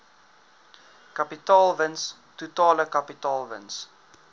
kapitaalwins totale kapitaalwins